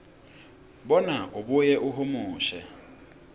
bona abuye ahumushe